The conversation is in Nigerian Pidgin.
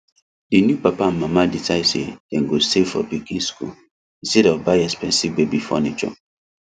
the new papa and mama decide say dem go save for pikin school instead of buy expensive baby furniture